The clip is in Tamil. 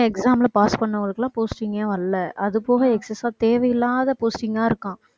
எங்க exam ல pass பண்ணவங்களுக்கு எல்லாம் posting ஏ வரலை அது போக excess ஆ தேவையில்லாத posting ஆ இருக்காம்